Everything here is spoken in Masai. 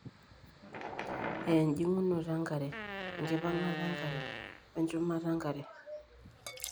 aa ejing'unoto enkare, enkipang'ata enkare, we nchumata enkare .